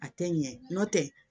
A tɛ ɲɛ n'o tɛ